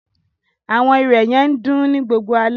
Awọn irẹ̀ yẹ n dùn ni gbogbo ale